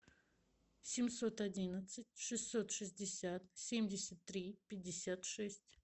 семьсот одиннадцать шестьсот шестьдесят семьдесят три пятьдесят шесть